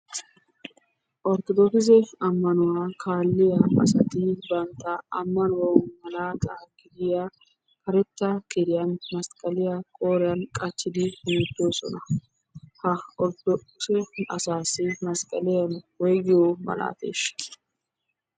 Orttodokise ammanuwaa kaaliya asati bantta ammanuwaw malata gidiya karetta kiriyan masqqaliyaa qooriyan qachchidi hemettosona. Ha orttodokise asassi masqqlaiya woyggiyo malate?